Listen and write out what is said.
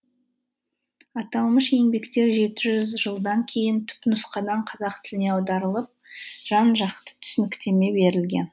аталмыш еңбектер жеті жүз жылдан кейін түпнұсқадан қазақ тіліне аударылып жан жақты түсініктеме берілген